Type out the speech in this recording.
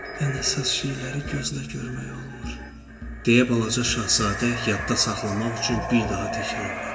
Ən əsas şeyləri gözlə görmək olmur, deyə balaca şahzadə yadda saxlamaq üçün bir daha təkrarladı.